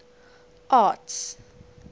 arts